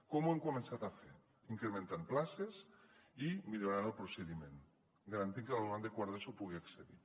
com ho hem començat a fer incrementant places i millorant el procediment garantint que l’alumnat de quart d’eso hi pugui accedir